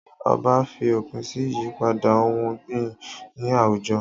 Ọba fi òpin sí ìyípadà ohùn ọ̀gbìn ní àwùjọ